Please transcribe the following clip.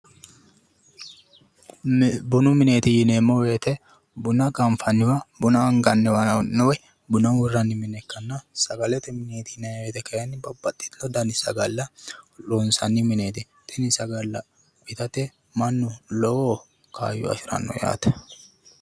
Bunu mineeti yineemmo woyte buna anganniwa buna ganfanniwa ikkanna sagalete mineeti yinayi woyte Kayi babbaxitewo sagalla loonsanni mineeti tini sagalla saga'late mannu lowo kaayyo afiranno yaate